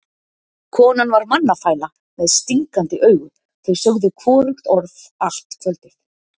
Konan var mannafæla með stingandi augu, þau sögðu hvorugt orð allt kvöldið.